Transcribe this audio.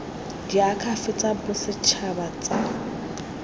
la diakhaefe tsa bosetšhaba tsa